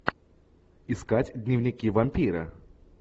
искать дневники вампира